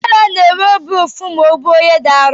Deraa na-enwe obi ụfụ ma o buo ihe dị arụ.